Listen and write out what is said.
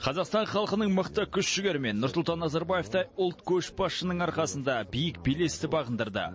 қазақстан халқының мықты күш жігері мен нұрсұлтан назарбаевтай ұлт көшбасшысының арқасында биік белесті бағындырды